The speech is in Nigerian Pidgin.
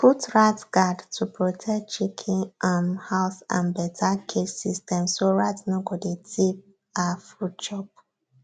put rat guard to protect chicken um house and better cage system so rat no go dey thief um food chop